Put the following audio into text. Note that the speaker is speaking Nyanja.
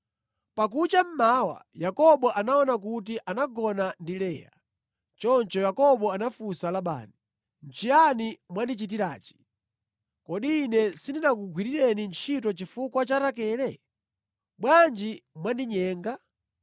Pakucha mmawa, Yakobo anaona kuti anagona ndi Leya. Choncho Yakobo anafunsa Labani, “Nʼchiyani mwandichitirachi? Kodi ine sindinakugwirireni ntchito chifukwa cha Rakele? Bwanji mwandinyenga?”